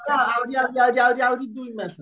ଆହୁରି ଆହୁରି ଆହୁରି ଆହୁରି ଦି ମାସ ରହିଲାଣି